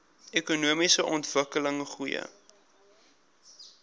ekonomiese ontwikkeling goeie